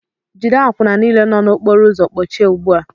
Jide àkwụnà niile nọ n'okpóró ụzọ kpọchie ugbu a!